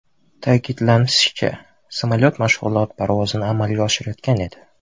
Ta’kidlanishicha, samolyot mashg‘ulot parvozini amalga oshirayotgan edi.